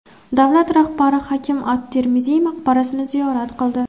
Davlat rahbari Hakim at-Termiziy maqbarasini ziyorat qildi.